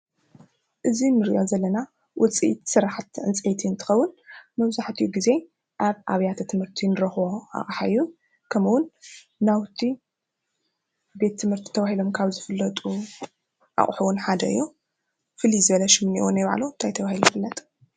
እዚ እንሪኦ ዘለና ውፅኢት ስራሕቲ ዕንጨይቲ እንትኸውን መብዛሕትኡ ግዜ ኣብ ኣብያተ ትምህርቲ እንረኽቦ ኣቅሓ እዩ። ከምኡ ውን ናውቲ ቤት ትምህርቲ ተባሂሎም ካብ ዝፍለጡ ኣቁሑ ውን ሓደ እዩ። ፋሉይ ሽሙ እንታይ ተባሂሉ ይፍለጥ።?